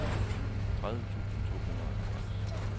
tredive tusind to hundrede og halvfjerds